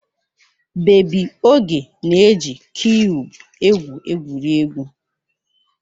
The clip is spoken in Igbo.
Bebi Oge na-eji kiyub egwu egwuregwu.